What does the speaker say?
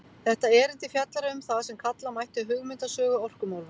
Þetta erindi fjallar um það sem kalla mætti hugmyndasögu orkumálanna.